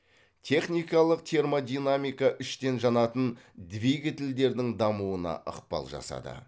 техникалық термодинамика іштен жанатын двигательдердің дамуына ықпал жасады